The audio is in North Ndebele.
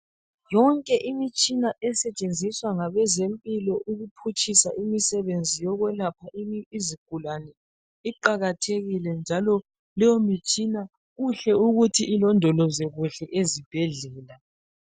Yonke imitshina esetshenziswa ngabezempilo ukuphutshisa imisebenzi yokwelapha izigulani iqakathekile njalo leyo mtshina kuhle ukuthi ilondolozwe kuhle ezibhedlela.